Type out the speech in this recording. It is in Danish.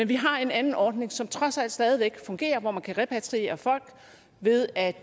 vi har en anden ordning som trods alt stadig væk fungerer hvor man kan repatriere folk ved at